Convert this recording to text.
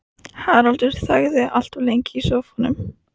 Haraldur þagði allt of lengi í sófanum.